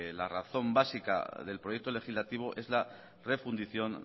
la razón básica del proyecto legislativo es la refundición